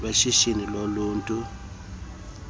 weshishini lothutho lweebhasi